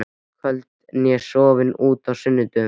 kvöldi né sofið út á sunnudögum.